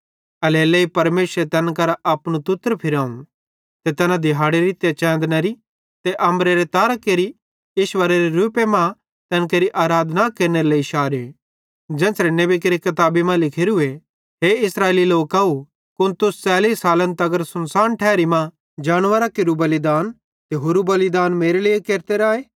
एल्हेरेलेइ परमेशरे तैन करां अपनू तुतर फिराव ते तैना दिहाड़ेरी ते च़ैंदनरे ते अम्बरेरे तारां केरि ईश्वरेरे रूपे मां तैन केरि आराधना केरनेरे लेइ शारे ज़ेन्च़रे नेबी केरि किताबी मां लिखोरूए हे इस्राएली लोकव कुन तुस 40 सालन तगर सुनसान ठैरी मां जानवरां केरू बलिदान ते होरू बलिदान मेरे लेइ केरते राए